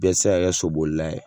Bɛɛ tɛ se ka kɛ sobolila ye